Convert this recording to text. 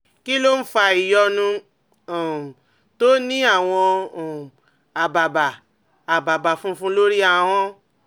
Kí ló ń fa ìyọnu um tó ní àwọn um àbàbà àbàbà funfun lórí ahọ́n?